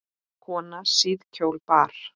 Konan síðkjól bar.